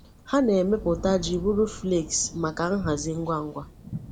Ha na-emepụta ji bụrụ flakes maka nhazi ngwa ngwa.